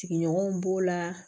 Sigiɲɔgɔnw b'o la